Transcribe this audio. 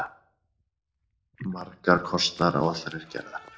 Margar kostnaðaráætlanir gerðar.